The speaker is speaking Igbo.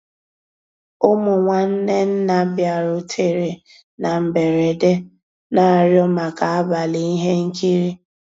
Ụmụ́ nnwànné nná bìàrùtérè ná mbérèdé, ná-àrịọ́ màkà àbàlí íhé nkírí.